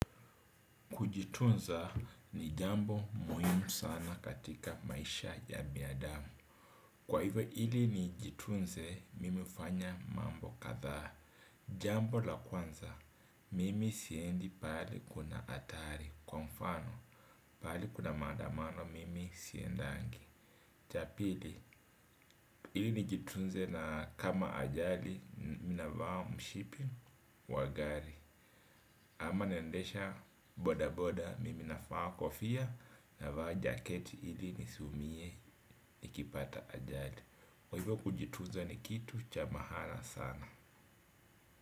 Kujitunza ni jambo muhimu sana katika maisha ya binadamu. Kwa hivyo ili nijitunze, mimi hufanya mambo kadha. Jambo la kwanza, mimi siendi pahali kuna hatari. Kwa mfano, pahali kuna maandamano, mimi siendangi. Cha pili, ili nijitunze na kama ajali, mimi navaa mshipi, wa gari. Ama naendesha boda boda mimi navaa kofia na vaa jaketi ili nisiumie nikipata ajali kwa hivyo kujitunza ni kitu cha maana sana.